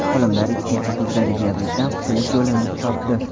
Olimlar ikkinchi turdagi diabetdan qutulish yo‘lini topdi.